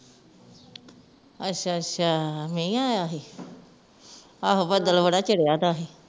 ਅਛਾ ਅਛਾ ਮੀਂਹ ਆਇਆ ਸੀ ਆਹੋ ਬਦਲ ਬੜਾ ਚੜੇਦਾ ਸੀ